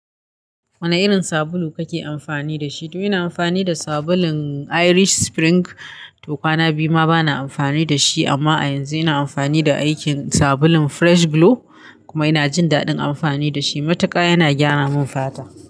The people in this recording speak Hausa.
Wane irin sabulu kake amfani da shi? To ina amfani da sabulun Irish Spring. To kwana biyu ma bana amfani da shi amma a yanzu ina amfani da aikin sabulun Fresh Glow kuma ina jin daɗin amfani da shi. Mutuka yana gyara min fata.